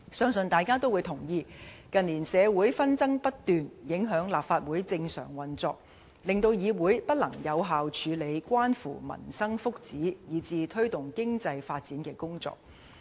相信大家均會同意，近年社會紛爭不斷，影響立法會正常運作，令議會不能有效處理關乎民生福祉，以至推動經濟發展的工作。